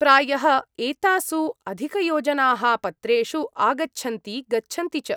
प्रायः एतासु अधिकयोजनाः पत्रेषु आगच्छन्ति गच्छन्ति च।